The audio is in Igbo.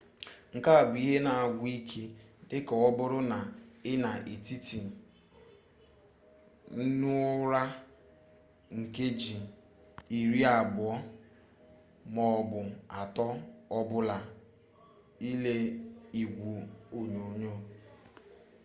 nke a bụ ihe na-agwụ ike dịka ọbụrụ na ị na-etete n'ụra nkeji iri abụọ m'ọbụ atọ ọbụla ile igwe onyonyo